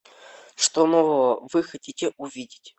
что нового вы хотите увидеть